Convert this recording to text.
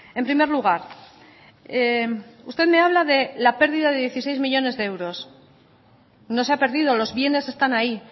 en primer lugar usted me habla de la pérdida de dieciséis millónes de euros no se ha perdido los bienes están ahí